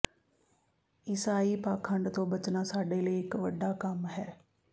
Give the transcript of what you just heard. ਈਸਾਈ ਪਾਖੰਡ ਤੋਂ ਬਚਣਾ ਸਾਡੇ ਲਈ ਇਕ ਵੱਡਾ ਕੰਮ ਹੈ